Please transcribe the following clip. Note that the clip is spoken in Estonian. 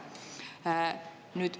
Aitäh!